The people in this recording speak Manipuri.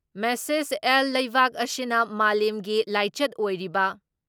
ꯃꯦꯁꯦꯁ ꯑꯦꯜ ꯂꯩꯕꯥꯛ ꯑꯁꯤꯅ ꯃꯥꯂꯦꯝꯒꯤ ꯂꯥꯏꯆꯠ ꯑꯣꯏꯔꯤꯕ